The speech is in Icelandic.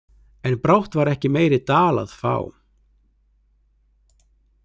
En brátt var ekki meiri dal að fá.